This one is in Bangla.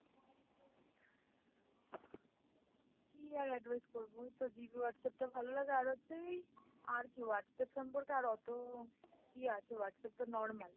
কী আর advice করবো এইতো GB Whatsapp টা ভালোলাগে আর হচ্ছে এই আর কী Whatsapp সম্পর্কে আর ওতো কী আছে Whatsapp তো normal।